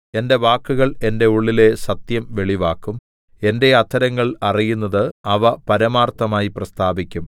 എന്റെ വാക്കുകൾ എന്റെ ഉള്ളിലെ സത്യം വെളിവാക്കും എന്റെ അധരങ്ങൾ അറിയുന്നത് അവ പരമാർത്ഥമായി പ്രസ്താവിക്കും